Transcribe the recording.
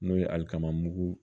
N'o ye alikama mugu